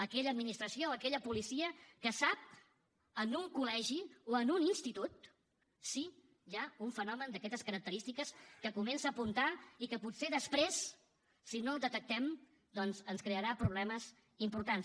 aquella administració aquella policia que sap en un col·legi o en un institut si hi ha un fenomen d’aquestes característiques que comença a apuntar i que potser després si no el detectem doncs ens crearà problemes importants